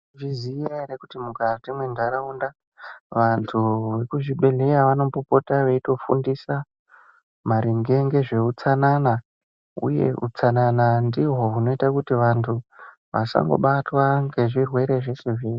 Maizviziya ere kuti mukati mwentaraunda vantu vekuzvibhehleya vanombopota veifundisa maringe nezveutsanana uye utsanana ndihwo hunoita kuti vantu vasabatwa ngezvirwere zveshe-zveshe.